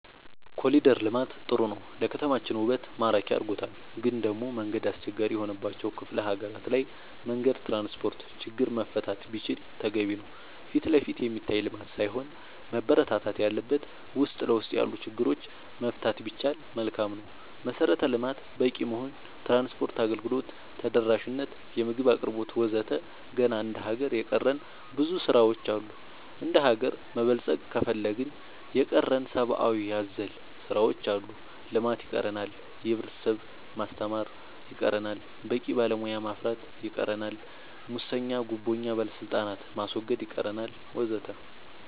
ኮሊደር ልማት ጥሩ ነው ለከተማችን ውበት ማራኪ አርጎታል ግን ደሞ መንገድ አስቸጋሪ የሆነባቸው ክፍለ ሀገራት ላይ መንገድ ትራንስፖርት ችግር መፈታት ቢችል ተገቢ ነው ፊትለፊት የሚታይ ልማት ሳይሆን መበረታታት ያለበት ውስጥ ለውስጥ ያሉ ችግሮች መፍታት ቢቻል መልካም ነው መሰረተ ልማት በቂ መሆን ትራንስፓርት አገልግሎት ተደራሽ ነት የምግብ አቅርቦት ወዘተ ገና እንደ ሀገር የቀረን ብዙ ስራ ዎች አሉ እንደሀገር መበልፀግ ከፈለግን የቀረን ሰባአዊ አዘል ስራዎች አሉ ልማት ይቀረናል የህብረተሰብ ማስተማር ይቀረናል በቂ ባለሙያ ማፍራት ይቀረናል ሙሰኛ ጉቦኛ ባለስልጣናት ማስወገድ ይቀረናል ወዘተ